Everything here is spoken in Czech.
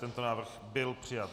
Tento návrh byl přijat.